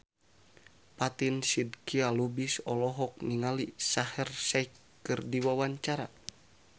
Fatin Shidqia Lubis olohok ningali Shaheer Sheikh keur diwawancara